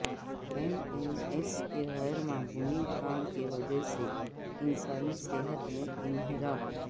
N N S کے غیر معمولی کام کی وجہ سے انسانی صحت میں انحراف